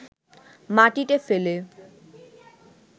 মাটিতে ফেলে